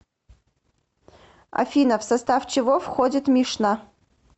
афина в состав чего входит мишна